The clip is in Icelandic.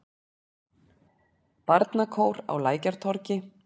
Barnakór á Lækjartorgi.